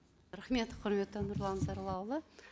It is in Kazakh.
рахмет құрметті нұрлан зайроллаұлы